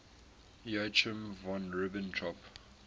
joachim von ribbentrop